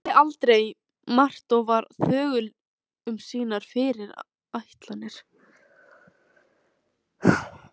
Sagði aldrei margt og var þögul um sínar fyrirætlanir.